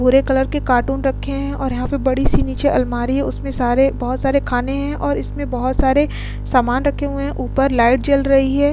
भूरे कलर के कार्टून रखे हैं और यहां पे बड़ी सी नीचे आलमारी हैं। उसमें सारे बोहोत सारे खाने हैं और इसमें बोहोत सारे सामान रखे हुए हैं। ऊपर लाइट जल रही है।